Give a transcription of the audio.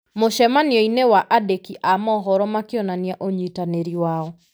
mũcemanio-inĩ wa andĩki a mohoro, makĩonania ũnyitanĩri wao.